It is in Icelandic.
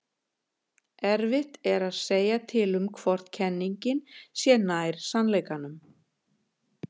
erfitt er að segja til um hvor kenningin sé nær sannleikanum